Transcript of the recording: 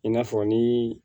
I n'a fɔ ni